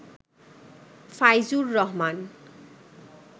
Faizur Rahman